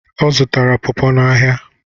Ọ zụtara pọọpo n'ahịa.